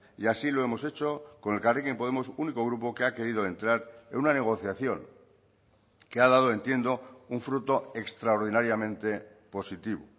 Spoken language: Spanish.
y así lo hemos hecho con elkarrekin podemos único grupo que ha querido entrar en una negociación que ha dado entiendo un fruto extraordinariamente positivo